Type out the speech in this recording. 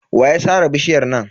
Wa ya sare bishiyar nan?